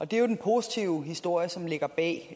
det er jo den positive historie som ligger bag